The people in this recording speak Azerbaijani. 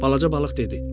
Balaca balıq dedi: